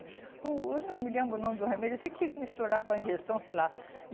o Eu não me lembro o nome do remédio, eu sei que tinha que misturar com a ingestão, sei lá.